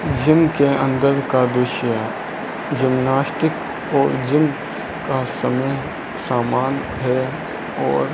gym के अंदर का दृश्य है जिमनास्टिक और जिम का समय समान है और --